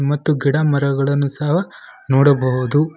ಮತ್ತು ಗಿಡ ಮರಗಳನ್ನು ಸವ ನೋಡಬಹುದು.